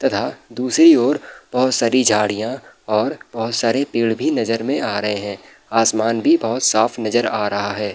तथा दूसरी और बोहोत सारी झाड़ियाँ और बोहोत सारे पेड़ भी नजर में आ रहे हैं। आसमान भी बोहोत साफ नजर आ रहा है।